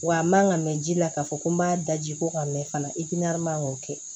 Wa n man ka mɛn ji la k'a fɔ ko n m'a da ji ko ka mɛn fana i k'a man k'o kɛ